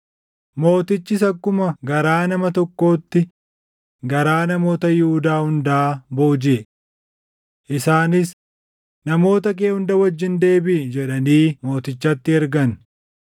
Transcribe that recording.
Mootichis akkuma garaa nama tokkootti garaa namoota Yihuudaa hundaa boojiʼe. Isaanis, “Namoota kee hunda wajjin deebiʼi” jedhanii mootichatti ergan.